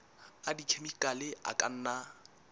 a dikhemikhale a ka nna